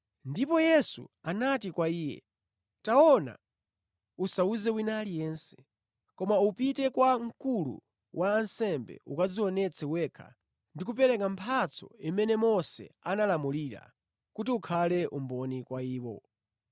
Ndipo Yesu anati kwa iye, “Taona, usawuze wina aliyense. Koma upite kwa mkulu wa ansembe ukadzionetse wekha ndi kupereka mphatso imene Mose analamulira, kuti ukhale umboni kwa iwo.”